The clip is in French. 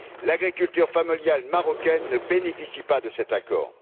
L'agriculture familiale marocaine ne bénéficie pas de cet accord.